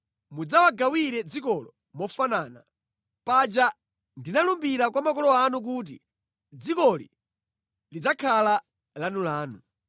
Mudzawagawire dzikolo mofanana. Paja ndinalumbira kwa makolo anu kuti dzikoli lidzakhala lanulanu.